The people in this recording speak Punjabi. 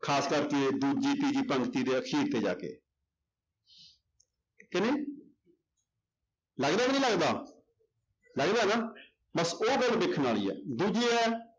ਖ਼ਾਸ ਕਰਕੇ ਦੂਜੀ ਤੀਜੀ ਪੰਗਤੀ ਦੇ ਅਖ਼ੀਰ ਤੇ ਜਾ ਕੇ ਕਿ ਨਹੀਂ ਲੱਗਦਾ ਕਿ ਨਹੀਂ ਲੱਗਦਾ, ਲੱਗਦਾ ਹੈ ਨਾ ਬਸ ਉਹ ਗੱਲ ਦੇਖਣ ਵਾਲੀ ਹੈ ਦੂਜੀ ਇਹ ਹੈ